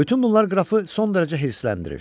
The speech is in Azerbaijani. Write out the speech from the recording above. Bütün bunlar qrafı son dərəcə hirsləndirir.